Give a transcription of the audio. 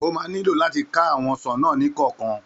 Ó ma nílò làti ka àwọn ọsàn náà ní ọ̀kọ̀ọ̀kan